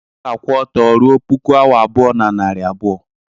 ọ ga-akwụ ọtọ ruo puku awa abụọ na narị abụọ